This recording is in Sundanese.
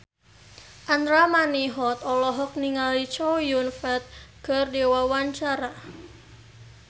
Andra Manihot olohok ningali Chow Yun Fat keur diwawancara